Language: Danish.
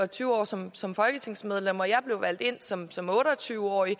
tyve år som som folketingsmedlem jeg blev valgt ind som som otte og tyve årig og